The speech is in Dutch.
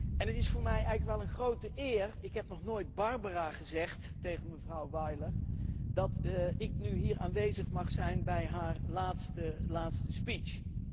En het is voor mij eigenlijk wel een grote eer ik heb nog nooit 'Barbara' gezegd tegen mevrouw Weiler dat ik nu hier aanwezig mag zijn bij haar laatste speech.